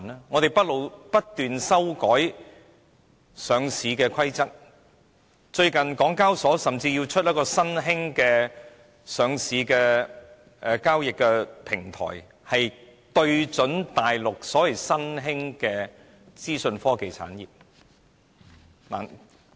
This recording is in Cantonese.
我們不斷修改上市規則，近日港交所甚至要推出一個新興的上市交易平台，就是要對準大陸的新興資訊科技產業。